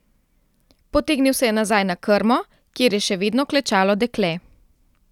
Potegnil se je nazaj na krmo, kjer je še vedno klečalo dekle.